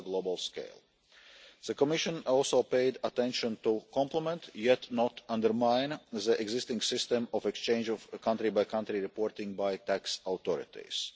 The Commission also paid attention to complement, but not undermine, the existing system of exchange of a country by country reporting by tax authorities.